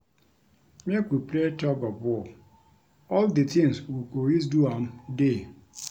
Make we play tug of war, all the things we go use do am dey